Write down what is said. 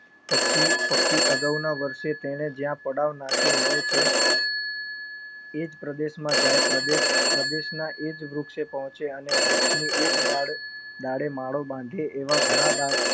પક્ષી અગાઉના વર્ષે તેને જ્યાં પડાવ નાખ્યો હોય છે. એજ પ્રદેશમાં જાય પ્રદેશના એજ વૃક્ષે પોહ્ચે અને વૃક્ષની એ જ ડાળે માળો બાંધે એવા ઘણા